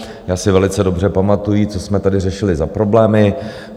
Já si velice dobře pamatuji, co jsme tady řešili za problémy.